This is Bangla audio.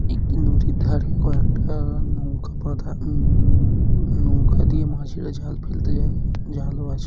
একটি নদীর ধারে কয়েকটা নৌকা বাঁধা উ-ম-- নৌকা দিয়ে মাঝিরা জাল ফেলতে যায় জালও আছে--